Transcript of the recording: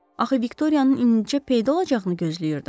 Axı Viktoriyanın incə peyda olacağını gözləyirdim.